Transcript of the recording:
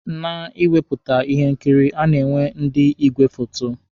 Na ịwepụta ihe nkiri, a na-enwe ndị igwe foto.